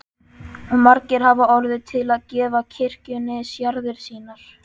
Og margir hafa orðið til að gefa kirkjunni jarðir sínar.